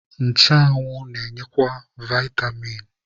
Nchụanwụ na-enyekwa vaịtamin.